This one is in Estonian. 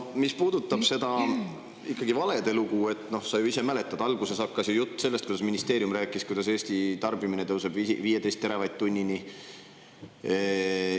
Mis puudutab ikkagi seda valede lugu, siis sa ju ise mäletad, et alguses hakkas pihta jutt, kuidas ministeerium rääkis, et Eesti tarbimine tõuseb 15 teravatt-tunnini.